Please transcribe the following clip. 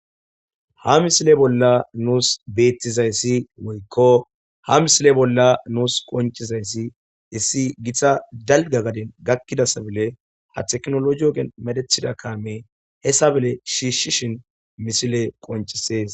ha misile bolla nuus beettizayssi woykko ha misile bolla nuus qoncizayssi issi githa dalga gadin gakkidasabile ha teknolo giyo medethida kaame hessa bele shiishshishin misile qoncisees